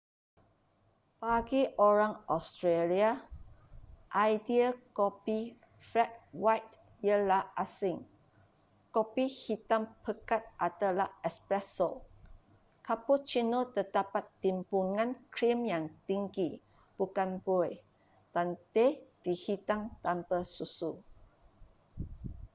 bagi orang australia idea kopi ”flat white” ialah asing. kopi hitam pekat adalah espresso” cappuccino terdapat timbunan krim yang tinggi bukan buih dan teh dihidang tanpa susu